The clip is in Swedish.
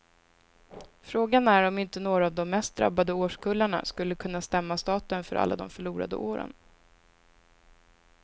Frågan är om inte några av de mest drabbade årskullarna skulle kunna stämma staten för alla de förlorade åren.